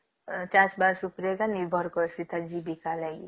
ଅ ଚାଷ ବାସ ଉପରେ ନିର୍ଭର କରୁଛି ଜୀବିକା ର ଲାଗି